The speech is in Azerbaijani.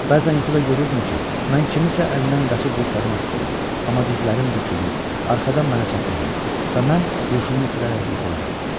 Bəzən yuxuda görürdüm ki, mən kimsənin əlindən qaçıb qurtarmaq istəyirəm, amma dizlərim bükülür, arxadan mənə çatırlar və mən huşumu itirərək yıxılıram.